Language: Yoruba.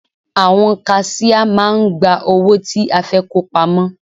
Àwọn kaṣíá máà ń gba owó tí a fẹ́ kó pamọ́.